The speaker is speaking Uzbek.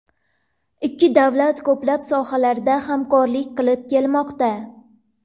Ikki davlat ko‘plab sohalarda hamkorlik qilib kelmoqda.